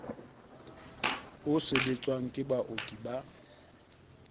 o sebetswang ke baoki ba